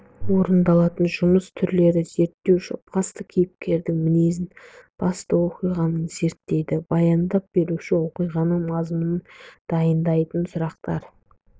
орындалатын жұмыс түрлері зерттеуші басты кейіпкердің мінезін басты оқиғаны зерттейді баяндап беруші оқиғаның мазмұнын дайындайды сұрақтар